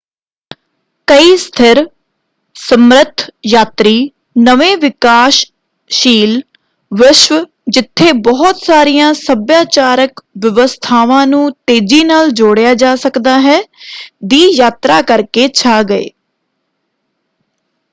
ਕਈ ਸਥਿਰ ਸਮਰਥ ਯਾਤਰੀ ਨਵੇਂ ਵਿਕਾਸਸ਼ੀਲ ਵਿਸ਼ਵ ਜਿੱਥੇ ਬਹੁਤ ਸਾਰੀਆਂ ਸੱਭਿਆਚਾਰਕ ਵਿਵਸਥਾਵਾਂ ਨੂੰ ਤੇਜ਼ੀ ਨਾਲ ਜੋੜਿਆ ਜਾ ਸਕਦਾ ਹੈ ਦੀ ਯਾਤਰਾ ਕਰਕੇ ਛਾ ਗਏ।